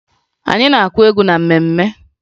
Anyị na-akụ egwu na mmemme